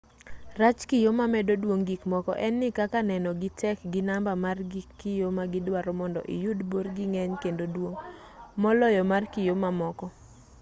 rach kiyo mamedo duong' gikmoko en ni kaka nenogi tek gi namba mar gig kiyo ma gidwaro mondo iyud borgi ng'eny kendo duong' moloyo mar kiyo mamoko